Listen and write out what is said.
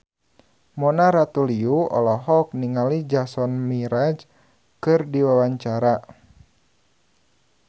Mona Ratuliu olohok ningali Jason Mraz keur diwawancara